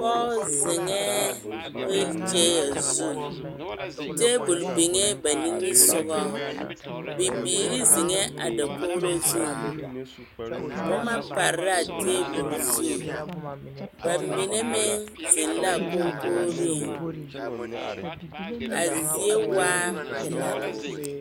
pɔge zeŋɛɛ wole kyɛnɛ zu taabol niŋee ba nimisoga bibiiri zeŋɛɛ a dakogiro zu boma pare la a taabol zu ba mine meŋ zeŋ laa kɔnkogiree a zie waa pelaa